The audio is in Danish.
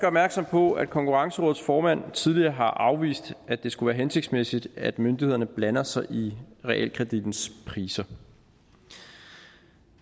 opmærksom på at konkurrencerådets formand tidligere har afvist at det skulle være hensigtsmæssigt at myndighederne blander sig i realkredittens priser